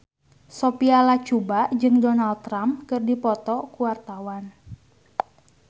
Sophia Latjuba jeung Donald Trump keur dipoto ku wartawan